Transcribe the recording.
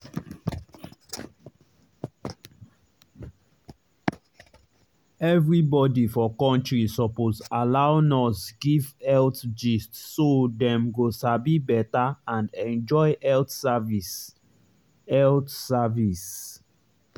everybody for country suppose allow nurse give health gist so dem go sabi better and enjoy health service. health service.